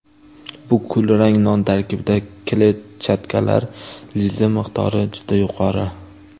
Bu kulrang non tarkibida kletchatkalar, lizin miqdori juda yuqori.